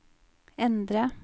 endre